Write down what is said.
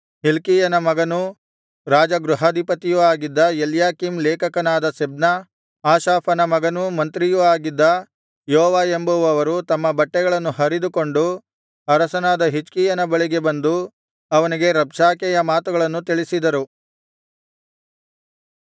ಹಿಲ್ಕೀಯನ ಮಗನೂ ರಾಜಗೃಹಾಧಿಪತಿಯೂ ಆಗಿದ್ದ ಎಲ್ಯಾಕೀಮ್ ಲೇಖಕನಾದ ಶೆಬ್ನ ಆಸಾಫನ ಮಗನೂ ಮಂತ್ರಿಯೂ ಆಗಿದ್ದ ಯೋವ ಎಂಬುವವರು ತಮ್ಮ ಬಟ್ಟೆಗಳನ್ನು ಹರಿದುಕೊಂಡು ಅರಸನಾದ ಹಿಜ್ಕೀಯನ ಬಳಿಗೆ ಬಂದು ಅವನಿಗೆ ರಬ್ಷಾಕೆಯ ಮಾತುಗಳನ್ನು ತಿಳಿಸಿದರು